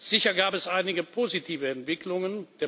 Sicher gab es einige positive Entwicklungen.